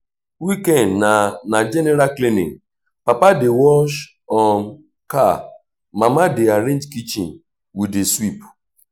weekend na na general cleaning papa dey wash um car mama dey arrange kitchen we dey sweep.